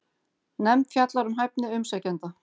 Nefnd fjallar um hæfni umsækjenda